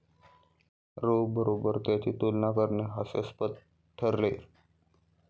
row बरोबर त्याची तुलना करणे हास्यास्पद ठरेल